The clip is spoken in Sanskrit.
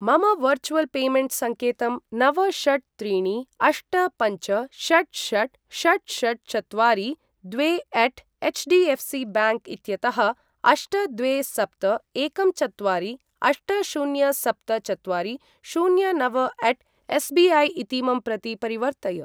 मम वर्चुवल् पेमेण्ट् संकेतं नव षट् त्रीणि अष्ट पञ्च षट् षट् षट् षट् चत्वारि द्वे अट् एच्डिएफ्सि ब्यांक् इत्यतः अष्ट द्वे सप्त एकं चत्वारि अष्ट शून्य सप्त चत्वारि शून्य नव अट् एसबिऐ इतीमं प्रति परिवर्तय।